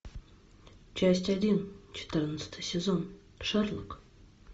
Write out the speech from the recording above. часть один четырнадцатый сезон шерлок